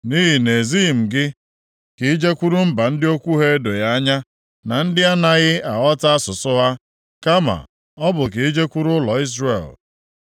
Nʼihi na-ezighị m gị ka i jekwuru mba ndị okwu ha edoghị anya na ndị a naghị aghọta asụsụ ha, kama ọ bụ ijekwuru ụlọ Izrel.